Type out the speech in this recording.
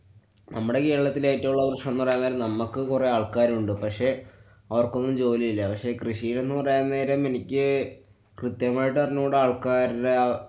നമ്മുടെ കേരളത്തിലെ ഏറ്റവും ഉള്ള പ്രശ്നംന്നുപറയാന്‍ കാരണം നമ്മക്ക് കൊറേ ആള്‍ക്കാരുണ്ട്. പക്ഷെ അവര്‍ക്കൊന്നും ജോലിയില്ല. പക്ഷെ കൃഷിയെന്ന് പറയാന്‍ നേരം എനിക്ക് ക്രിത്യമായിട്ടറിഞ്ഞൂടാ ആള്‍ക്കാര്‍ടെ ആ